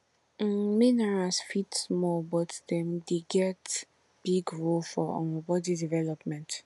um minerals fit small but dem get big role for um body development